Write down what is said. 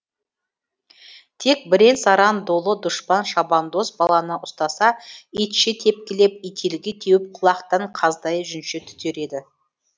тек бірен саран долы дұшпан шабандоз баланы ұстаса итше тепкілеп ителгі теуіп құлатқан қаздай жүнше түтер еді